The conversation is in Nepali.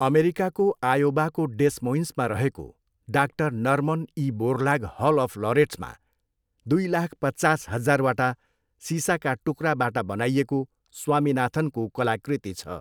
अमेरिकाको आयोवाको डेस मोइन्समा रहेको 'डा Norman E Borlaug Hall of लोरेट्स'मा दुई लाख पचास हजारवटा सिसाका टुक्राबाट बनाइएको स्वामिनाथनको कलाकृति छ।